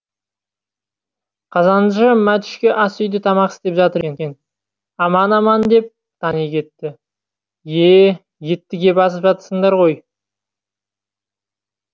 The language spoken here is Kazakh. қазаншы матүшке ас үйде тамақ істеп жатыр екен аман аман деп тани кетті е етті кеп асып жатырсыңдар ғой